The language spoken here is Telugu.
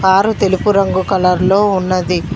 కారు తెలుపు రంగు కలర్ లో ఉన్నది.